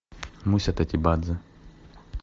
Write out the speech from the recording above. муся тотибадзе